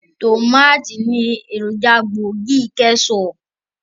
Tòmátì ni èròjà gbòógì kẹ́ṣọọ̀pù.